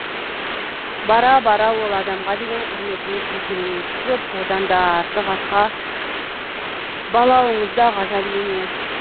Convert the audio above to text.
бара бара ол адамға деген құрметіңіз еселене түсіп одан да артық атқа балауыңыз да ғажап емес